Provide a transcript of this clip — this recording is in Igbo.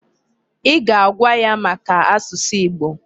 Ị ga-agwa ya maka asụsụ Igbo!